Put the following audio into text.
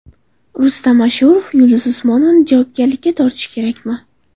Rustam Ashurov Yulduz Usmonovani javobgarlikka tortish kerakmi?